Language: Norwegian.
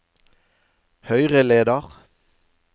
høyreleder